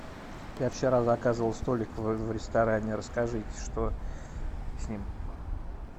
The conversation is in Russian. я вчера заказывал столик в ресторане расскажите что с ним